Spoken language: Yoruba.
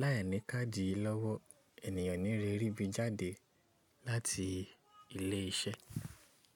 Láìní káàdì yìí lọ́wọ́, ènìyàn o ní le rí bí jáde láti ilé iṣẹ́.